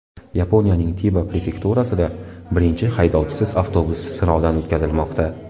Yaponiyaning Tiba prefekturasida birinchi haydovchisiz avtobus sinovdan o‘tkazilmoqda.